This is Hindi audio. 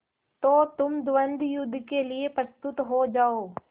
तो तुम द्वंद्वयुद्ध के लिए प्रस्तुत हो जाओ